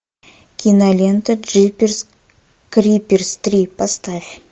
кинолента джиперс криперс три поставь